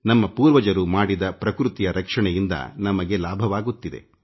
ನಮ್ಮ ಪೂರ್ವಜರು ಮಾಡಿದ ಪ್ರಕೃತಿಯ ರಕ್ಷಣೆಯಿಂದ ನಮಗೆ ಲಾಭವಾಗುತ್ತಿದೆ